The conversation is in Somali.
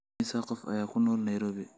imisa qof ayaa ku nool nairobi